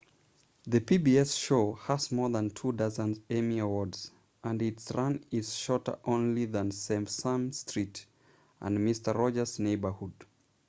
the pbs show has more than two-dozen emmy awards and its run is shorter only than sesame street and mister rogers' neighborhood